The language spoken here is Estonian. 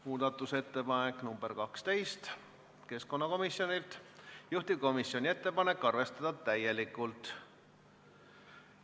Muudatusettepanek nr 12 on keskkonnakomisjonilt, juhtivkomisjoni ettepanek on arvestada täielikult.